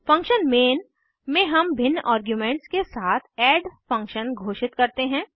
function main में हम भिन्न आर्ग्यूमेंट्स के साथ ऐड फंक्शन घोषित करते हैं